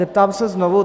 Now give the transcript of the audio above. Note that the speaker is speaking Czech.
Zeptám se znovu.